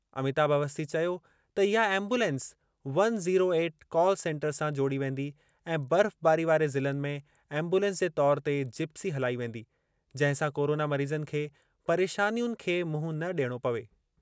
अमिताभ अवस्थी चयो त इहा ambulance one zero eight call centre सां जोड़ी वेंदी ऐं बर्फ़बारी वारे ज़िलनि में एम्बुलेंस जे तौरु ते जिप्सी हलाई वेंदी जंहिं सां कोरोना मरीज़नि खे परेशानियुनि खे मुंहुं न ॾियणो पवे।